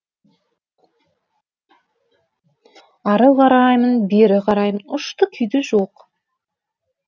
ары қараймын бері қараймын ұшты күйді жоқ